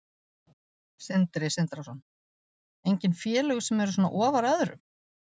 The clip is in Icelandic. Sindri Sindrason: Engin félög sem eru svona ofar öðrum?